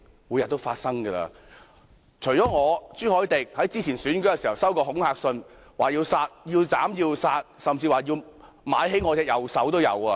我和朱凱廸議員早前在選舉時收到恐嚇信，表明要斬要殺，甚至說要買兇傷我的右手。